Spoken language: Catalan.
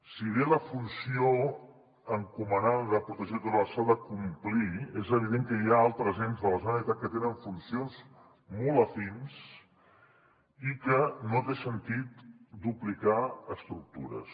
si bé la funció encomanada de protecció del litoral s’ha de complir és evident que hi ha altres ens de la generalitat que tenen funcions molt afins i que no té sentit duplicar estructures